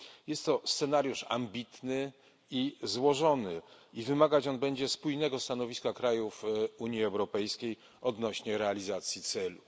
Jest to scenariusz ambitny i złożony, który wymagać będzie spójnego stanowiska krajów Unii Europejskiej odnośnie do realizacji celów.